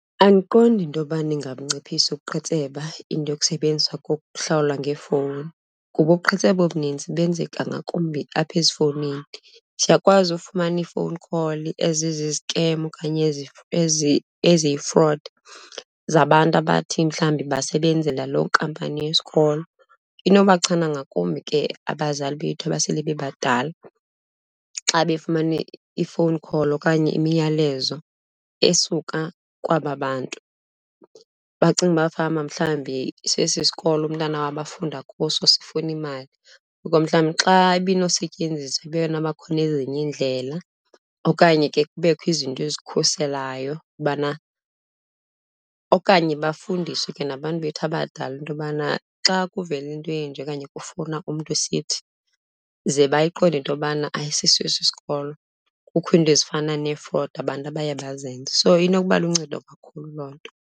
Andiqondi into yobana ingabunciphisa ubuqhetseba into yokusebenziswa kokuhlawula ngeefowuni kuba ubuqhetseba obunintsi benzeka ngakumbi apha ezifowunini. Siyakwazi ufumana ii-phone call ezizizikem okanye eziyi-fraud, zabantu abathi mhlawumbi basebenzela loo nkampani yesikolo. Inobachana ngakumbi ke abazali bethu abasele bebadala, xa befumana i-phone call okanye imiyalezo esuka kwaba bantu bacinge uba fanuba mhlawumbi sesi sikolo umntana wabo afunda kuso sifuna imali. Ngoko mhlawumbi xa ibinosetyenziswa ibe nobakhona ezinye iindlela okanye ke kubekho izinto ezikhuselayo ubana okanye bafundiswe ke nabantu bethu abadala into yobana xa kuvela into enje okanye kufowuna umntu esithi, ze bayiqonde into yobana ayisiso esi sikolo. Kukho iinto ezifana nee-fraud abantu abaye bazenze, so inokuba luncedo kakhulu loo nto.